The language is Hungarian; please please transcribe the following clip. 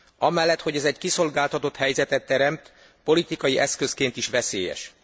Amellett, hogy ez egy kiszolgáltatott helyzetet teremt, politikai eszközként is veszélyes.